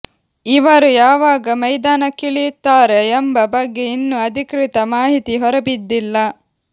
ಇವರು ಯಾವಾಗ ಮೈದಾನಕ್ಕಿಳಿಯುತ್ತಾರೆ ಎಂಬ ಬಗ್ಗೆ ಇನ್ನೂ ಅಧಿಕೃತ ಮಾಹಿತಿ ಹೊರಬಿದ್ದಿಲ್ಲ